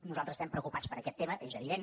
nosaltres estem preocupats per aquest tema és evident